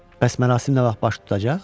Bəs mərasim nə vaxt baş tutacaq?